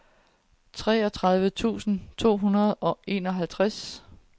treogtredive tusind to hundrede og enoghalvtreds